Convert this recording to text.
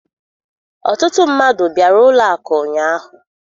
Ọtụtụ mmadụ bịara ụlọ akụ ụnyaahụ